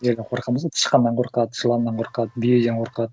нелерден қорқамыз ғой тышканнан қорқады жыланнан қорқады бүйеден қорқады